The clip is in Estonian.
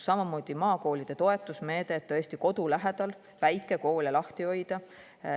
Samamoodi maakoolide toetusmeede, et tõesti kodu lähedal väikekoole lahti hoida.